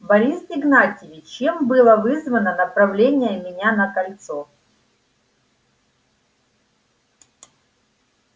борис игнатьевич чем было вызвано направление меня на кольцо